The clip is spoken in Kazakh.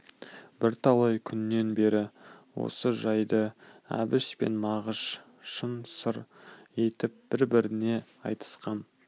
бірталай күннен бері осы жайды әбіш пен мағыш шын сыр етіп бір-біріне айтысқан